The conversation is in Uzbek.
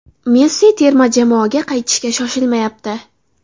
Messi terma jamoaga qaytishga shoshilmayapti.